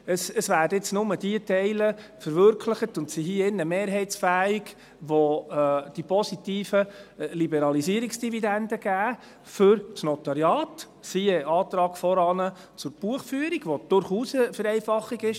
Es werden jetzt nur diese Teile verwirklicht und sind hier im Rat mehrheitsfähig, welche für das Notariat die positiven Liberalisierungsdividenden geben, siehe Antrag von vorhin zur Buchführung, was durchaus eine Vereinfachung ist.